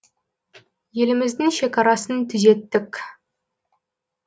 еліміздің шегарасын түзеттік